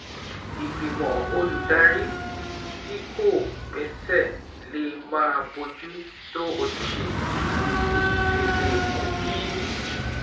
Ìgbìmọ̀ olùdarí tí kò gbéṣẹ́ lè máà bójú tó ojúṣe yìí, èyí sì lè mú kí